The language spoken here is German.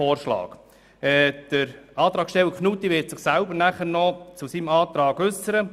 Der Antragsteller Knutti wird sich nachher selber noch zu seiner Planungserklärung äussern.